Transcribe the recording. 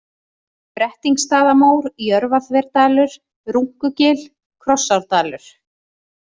Brettingsstaðamór, Jörfaþverdalur, Runkugil, Krossárdalur